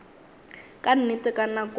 ka nnete ka nako ye